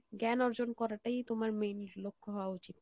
জ্ঞান অর্জন করাটাই তোমার main লক্ষ্য হওয়া উচিত